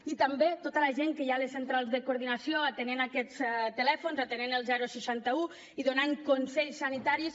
i també tota la gent que hi ha a les centrals de coordinació atenent aquests telèfons atenent el seixanta un i donant consells sanitaris